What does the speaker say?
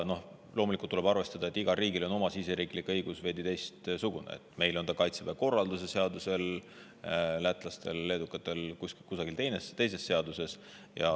Loomulikult tuleb arvestada, et igal riigil on oma riigisisene õigus veidi teistsugune: meil on see reguleeritud Kaitseväe korralduse seaduses, lätlastel-leedulastel võib see olla mõnes teises seaduses.